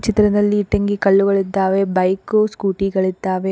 ಚಿತ್ರದಲ್ಲಿ ಇಟ್ಟಂಗಿ ಕಲ್ಲುಗಳಿದ್ದಾವೆ ಬೈಕು ಸ್ಕೂಟಿ ಗಳಿದ್ದಾವೆ.